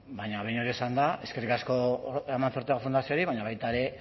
baina behin hori esanda eskerrik asko amancio ortega fundazioari baina baita ere